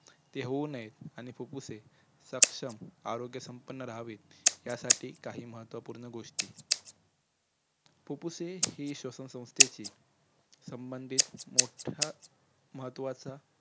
ते होऊ नयेत आणि फुप्फुसे सक्षम आरोग्यसंपन्न रहावेत यासाठी काही महत्वपूर्ण गोष्टी फुप्फुसे हे श्वसनसंस्थेंची संबधीत मोठं महत्वाच